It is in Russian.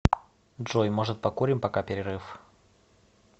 джой может покурим пока перерыв